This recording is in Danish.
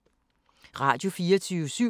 Radio24syv